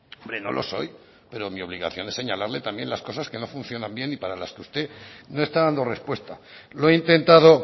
hombre no lo soy pero mi obligación es señalarle también las cosas que no funcionan bien y para las que usted no está dando respuesta lo he intentado